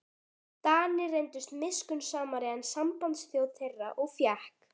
Danir reyndust miskunnsamari en sambandsþjóð þeirra og fékk